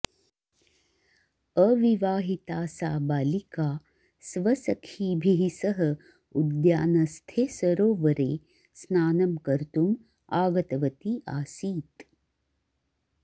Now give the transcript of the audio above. अविवाहिता सा बालिका स्वसखीभिः सह उद्यानस्थे सरोवरे स्नानं कर्तुम् आगतवती आसीत्